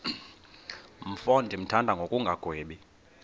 mfo ndimthanda ngokungagwebi